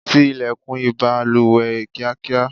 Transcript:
tí ilẹ̀kùn ìbalùwẹ̀ kíákíá